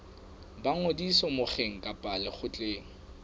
ba ngodiso mokgeng kapa lekgotleng